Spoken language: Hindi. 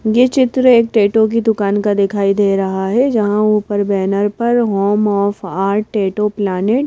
ये चित्र एक टैटू की दुकान का दिखाई दे रहा हैं जहाँ ऊपर बैनर पर home of art tattoo planet --